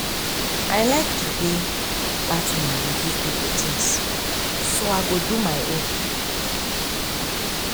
i like the way dat woman dey give people things so i go do my own